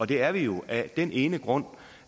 det er vi jo af den ene grund